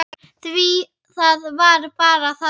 Því það var bara þannig.